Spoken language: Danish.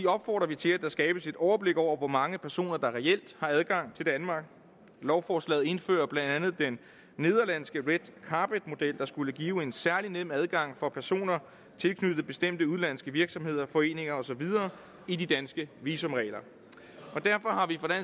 opfordrer vi til at der skabes et overblik over hvor mange personer der reelt har adgang til danmark lovforslaget indfører blandt andet den nederlandske red carpet model der skulle give en særlig nem adgang for personer tilknyttet bestemte udenlandske virksomheder foreninger og så videre i de danske visumregler og derfor har vi